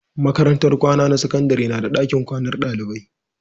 Makarantar kwana na sakandare na da dakin kwanan dalibai